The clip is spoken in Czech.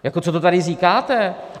Jako co to tady říkáte?